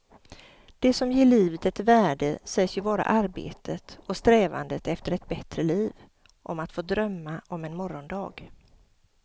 Det som ger livet ett värde sägs ju vara arbetet och strävandet efter ett bättre liv, om att få drömma om en morgondag.